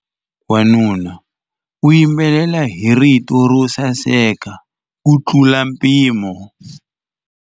Wanuna u yimbelela hi rito ro saseka kutlula mpimo.